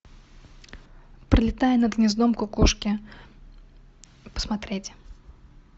пролетая над гнездом кукушки посмотреть